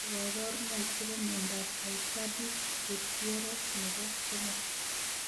Nee kaparunoik chepo miondap aicardi goutieres nebo 3